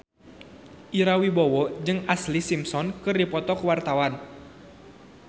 Ira Wibowo jeung Ashlee Simpson keur dipoto ku wartawan